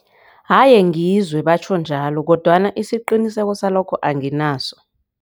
Haye ngizwe batjho njalo kodwana isiqiniseko salokho anginaso.